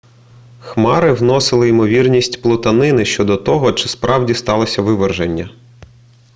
хмари вносили ймовірність плутанини щодо того чи справді сталося виверження